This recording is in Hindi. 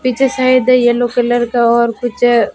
पीछे सायद येलो कलर का और कुछ--